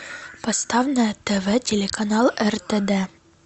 поставь на тв телеканал ртд